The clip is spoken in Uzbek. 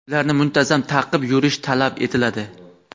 Ularni muntazam taqib yurish talab etiladi.